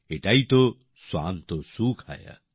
এটাই তো স্বান্তঃ সুখায়